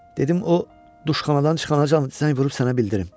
Dedim o duşxanadan çıxana zəng vurub sənə bildirim.